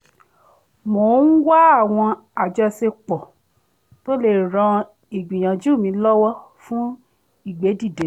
mò ń wá àwọn àjọṣepọ̀ tó lè ran ìgbìyànjú mi lọwọ fun ìgbédìde